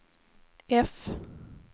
F